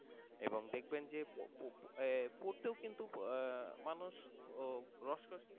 এবং দেখবেন যে পড়তেও কিন্তু আহ মানুষ উহ রস কস হীন,